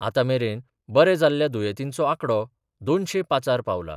आतामेरेन बरे जाल्ल्या दुयेतींचो आकडो दोनशे पाचार पांवला.